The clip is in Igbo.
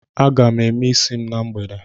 M ga- eme isi m na mgbede